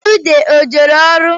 Ude o jere ọrụ?